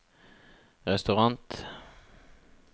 restaurant